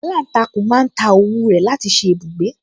Aláǹtakùn máa ń ta òwú rẹ̀ láti ṣe ibùgbé